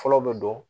Fɔlɔ bɛ don